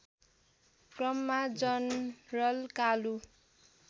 क्रममा जनरल कालु